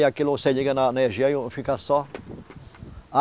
Aí aquilo você liga na energia e fica só.